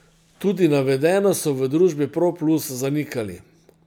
Tudi navedeno so v družbi Pro Plus zanikali.